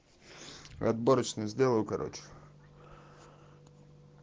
отборочный сделаю короче